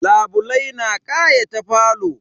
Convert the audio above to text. Labulai na kayata falo.